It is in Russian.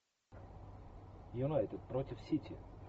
юнайтед против сити